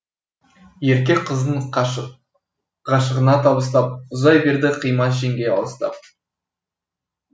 ерке қызын ғашығына табыстап ұзай берді қимас жеңге алыстап